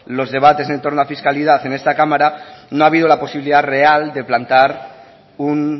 los debates en torno a fiscalidad en esta cámara no ha habido una posibilidad real de plantear un